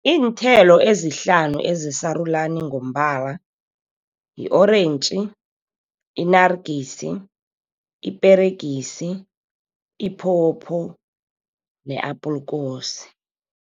Iinthelo ezihlanu ezisarulani ngombala yi-orentji, inarigisi, iperegisi, iphopho ne-apulkosi.